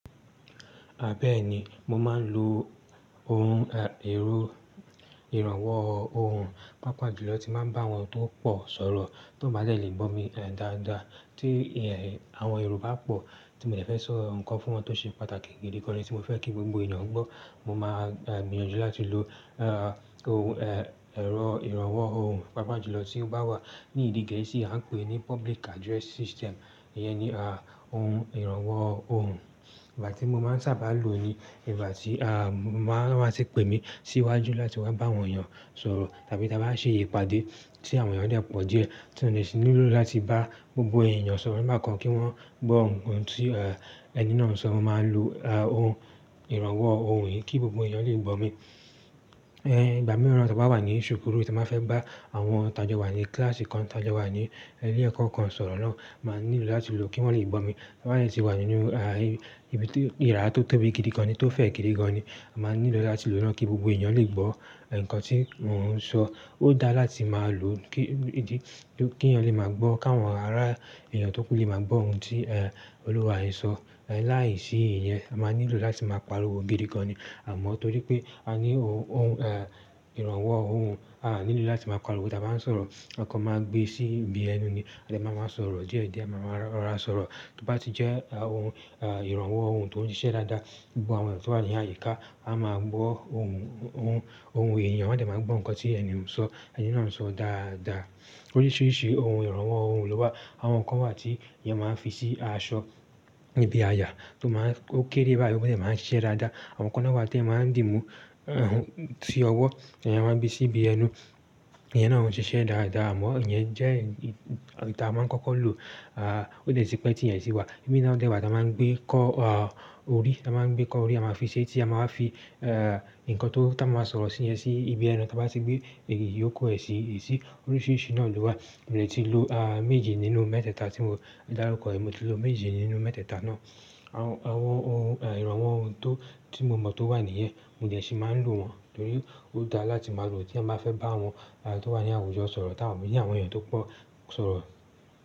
Àbẹ́ẹ̀ni, mo máa ń lò ohun e èro ìrànwọ́ ohùn, pàápàá jùlọ tí màá ń bá àwọn tó pọ̀ sọ̀rọ̀, tí wọ́n bá lè lè gbó mi dáadáa. Tí e àwọn Yorùbá pọ̀ tí mo fẹ́ sọ nǹkan fún wọn tó ṣe pàtàkì gidi kan ni tí mo fẹ́ kí gbogbo ènìyàn gbọ́, mo máa gbìyànjú láti lò e ohun e èro ìrànwọ́ ohùn, pàápàá jùlọ tí ó bá wà ní èdè gẹ̀ẹ́sì à ń pè ní public address System. Ìyẹn ni ohun ìrànwọ́ ohùn. Ìgbà tí mo máa ń sábà lò ni ìgbà tí a wọ́n bá ti pè mí síwájú láti wá bá àwọn èèyàn sọ̀rọ̀ tàbí tí a bá ṣe ìpàdé tí àwọn èèyàn lè pọ̀ díẹ̀, tí mo nílò láti bá. Gbogbo ènìyàn sọ̀rọ̀ nígbà kan kí wọ́n gbọ́ ohun tí e ẹni náà ń sọ, mo máa lò ohun ìrànwọ́ ohùn kí gbogbo èèyàn lè gbó mi. Ìgbà mìíràn tí wọ́n bá wà ní ṣùkúrù tí mo fẹ́ bá àwọn tajo wà ní kíláàsì kan tajo wà ní ilé ẹ̀kọ́ kan sọ̀rọ̀ náà, màá nílò láti lò kí wọ́n lè gbó mi. Ba yen se wà nínú ibi tí ìrá tó tóbi gidi kan ni tó fẹ̀ gidi gan ni, màá nílò láti lò náà kí gbogbo ènìyàn lè gbọ́ nǹkan tí mò ń sọ. Ó dáa láti máa lò ó kí ènìyàn lè máa gbọ́, káwọn ará èyàn tó kú lè máa gbọ́ ohun tí olúwa e sọ. Láìsí ìyẹn, a màá nílò láti máa pariwo gidi gan ni. Àmọ́ torí pé a ní o ohun e ìrànwọ́ ohùn, ànílò láti máa pariwo tí a bá ń sọ̀rọ̀, a kan máa gbé sí ibi ẹnu ni a dẹ̀ máa máa sọ̀rọ̀ díẹ̀díẹ̀, a máa máa rọra sọ̀rọ̀. Tí ó bá ti jẹ́ ohun e ìrànwọ́ ohùn tó ń ṣiṣẹ́ dáadáa, gbogbo àwọn èyàn tó wà ní àyíká á máa gbọ́ ohun ohun èèyàn wọ́n dẹ̀ máa gbọ́ nǹkan tí ẹni u so ẹni ńaa ń sọ dáadáa. Oríṣiríṣi ohun ìrànwọ́ ohùn ló wà. Àwọn kan wà tí èèyàn máa ń fi sí aṣọ níbi aya tó máa ń ó kéré báyìí ó dẹ̀ máa ń ṣiṣẹ́ dáadáa. Àwọn kan náà wà tí èyàn máa ń dì mú sí ọwọ́, ìyẹn a máa gbé sí ibi ẹnu. Ìyẹn náà ń ṣiṣẹ́ dáadáa amọ́ ìyẹn jẹ́ ii èyí ta máa ń kọ́kọ́ lò ó dẹ́ti pé tí èyín sì wà. Imi na dẹ wà tí a máa ń gbé kọ́ a orí, a máa ń gbé kọ́ orí a máa fi ṣe é tí a máa fi e nǹkan tó tan máa máa sọ̀rọ̀ sí yẹn sí ibi ẹnu tí a bá ti gbé èyí yóò ku ẹ sí. Oríṣiríṣi náà ló wà. Mo lè ti lò a méje nínú mẹ́tẹ́ẹ̀ta tí mo dárúkọ, mo ti lò méje nínú mẹ́tẹ́ẹ̀ta náà. Àwọn ohun ìrànwọ́ ohùn to tí mo mọ̀ tó wà níyẹn, mo dẹ̀ sí máa ń lò wọ́n torí ó dáa láti máa lò tí èyàn bá fẹ́ bá àwọn a tó wà ní àwùjọ sọ̀rọ̀ tàbí àwọn èèyàn tó pọ̀ sọ̀rọ̀.